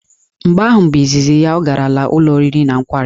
Mgbe ahụ bụ izizi ya ọ garala ụlọ oriri na nkwari.